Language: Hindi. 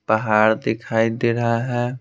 पहाड़ दिखाई दे रहा है।